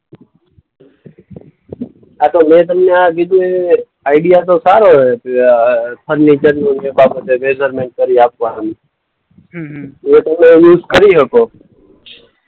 હા તો મેં તમને આ આઈડિયા તો સારો અ આ ફર્નિચરનું ને બાબતે મેજરમેન્ટ કરી આપવાનું. હમ્મ હમ્મ. એ તમે યુઝ કરી હકો.